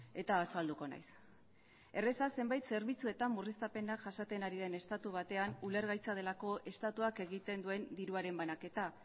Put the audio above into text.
eta azalduko naiz erreza zenbait zerbitzuetan murriztapenak jasaten ari den estatu batean ulergaitza delako estatuak egiten duen diruaren banaketa